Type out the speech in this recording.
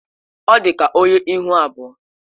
Ọ dị ka onye ihu abụọ.